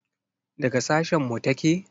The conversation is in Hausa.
Daga sashen mu take?